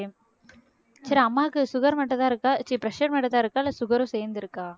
சரி அம்மாவுக்கு sugar மட்டும்தான் இருக்கா ச்சீ pressure மட்டும்தான் இருக்கா இல்லை sugar ம் சேர்ந்திருக்கா